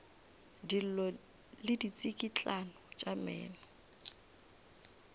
dillo le ditsikitlano tša meno